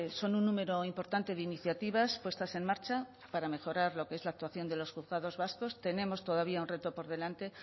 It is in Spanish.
son un número importante de iniciativas puestas en marcha para mejorar lo que es la actuación de los juzgados vascos tenemos todavía un reto por delante